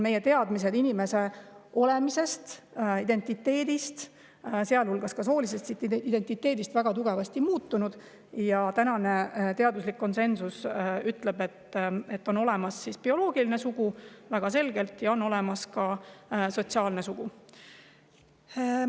Meie teadmised inimeseks olemisest, inimese identiteedist, sealhulgas soolisest identiteedist, on väga tugevasti muutunud ja tänane teaduslik konsensus ütleb, et väga selgelt on olemas bioloogiline sugu ja on olemas ka sotsiaalne sugu.